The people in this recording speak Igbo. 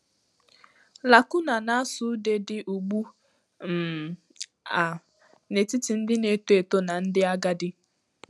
Lacuna na-asụ ude dị ugbu um a n'etiti ndị na-eto eto na ndị agadi.